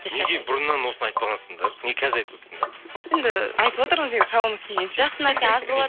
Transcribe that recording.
бұрыннан осыны айтпағансыңдар неге қазір айтып отырсыңдар енді айтып отырмыз енді шамамыз келгенше жақсы нәрсе аз болады